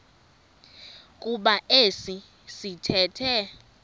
kuba esi sithethe